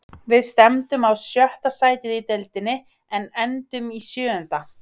Við stefndum á sjötta sætið í deildinni en endum í sjöunda.